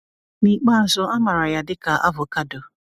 N’ikpeazụ, a mara ya dị ka avocado.